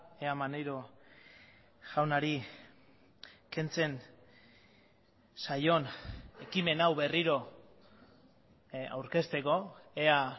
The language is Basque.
ea maneiro jaunari kentzen zaion ekimen hau berriro aurkezteko ea